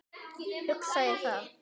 Hugsaði það.